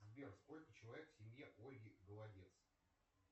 сбер сколько человек в семье ольги голодец